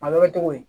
A bɛ kɛ cogo di